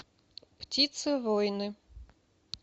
птицы воины